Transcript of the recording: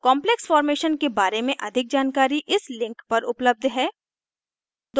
complex formation के बारे में अधिक जानकारी इस link पर उपलब्ध है